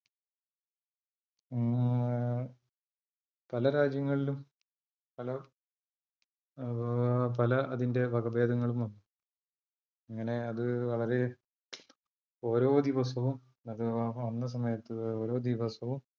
പല രാജ്യങ്ങളിലും പല അതിന്റെ വകഭേദങ്ങളും വന്നു അങ്ങനെ അത് വളരെ ഓരോ ദിവസവും വന്ന സമയത്ത് ഓരോ ദിവസവും